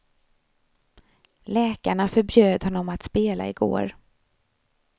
Läkarna förbjöd honom att spela igår.